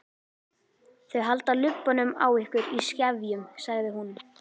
Þau halda lubbanum á ykkur í skefjum, sagði hún.